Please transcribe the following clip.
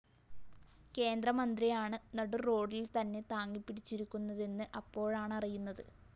കേന്ദ്രമന്ത്രിയാണ് നടുറോഡിൽ തന്നെ താങ്ങിപിടിച്ചിരിക്കുന്നതെന്ന് അപ്പോഴാണറിയുന്നത്